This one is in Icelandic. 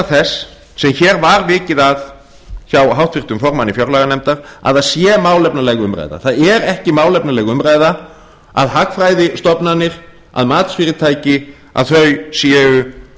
þess sem hér var vikið að hjá háttvirtum formanni fjárlaganefndar að það sé málefnaleg umræða það er ekki málefnaleg umræða að hagfræðistofnanir að matsfyrirtæki að þau séu